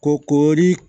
Ko koori